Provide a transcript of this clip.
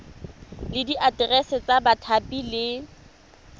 le diaterese tsa bathapi le